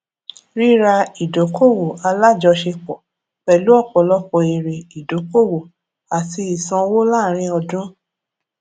rírà ìdókòwò alájọṣepọ pẹlú ọpọlọpọ èrè idókòwò àti ìsanwó láàárín ọdún